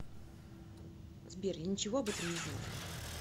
сбер я ничего об этом не знаю